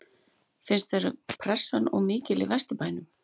Finnst þér pressan of mikil í Vesturbænum?